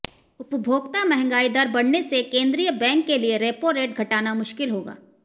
उपभोक्ता महंगाई दर बढ़ने से केंद्रीय बैंक के लिए रेपो रेट घटाना मुश्किल होगा